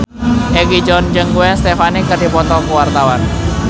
Egi John jeung Gwen Stefani keur dipoto ku wartawan